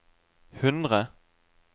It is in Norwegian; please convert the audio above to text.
hundre